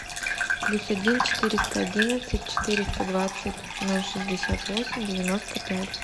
плюс один четыреста одиннадцать четыреста двадцать ноль шестьдесят восемь девяносто пять